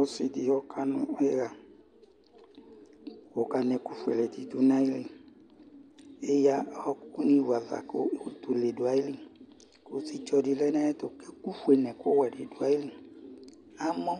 Ɔsidi ɔkanu iya kɔkanɛ ɛku fuele du nayili ,Eya ɔwoku ni vu ava kutulɛ duayili Kusitsɔ dilɛ nayɛtu kekuwɛ nofuele duayili Amɔ